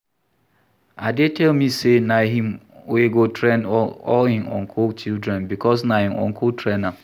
Ade tell me say na him wey go train all im uncle children because na im uncle train am